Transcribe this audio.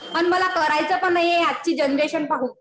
आणि मला करायचं पण नाहीये आजची जनरेशन पाहून.